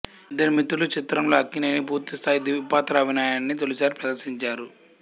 ఇద్దరు మిత్రులు చిత్రంలో అక్కినేని పూర్తి స్థాయి ద్విపాత్రాభినయాన్ని తొలిసారి ప్రదర్శించారు